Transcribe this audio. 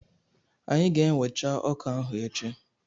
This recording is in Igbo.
Anyị ga-ewecha ọka ahụ echi.